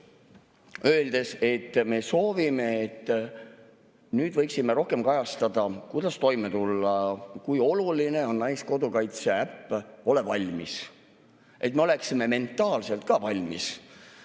öelda, et me soovime, et nüüd võiks rohkem kajastada seda, kuidas toime tulla ja kui oluline on naiskodukaitse äpp "Ole valmis!", et me oleksime ka mentaalselt valmis.